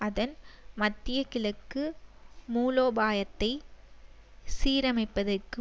அதன் மத்தியகிழக்கு மூலோபாயத்தை சீரமைப்பதற்கு